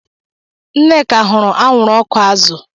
Nneka hụrụ anwụrụ ọkụ azụ